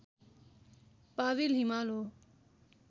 Powell हिमाल हो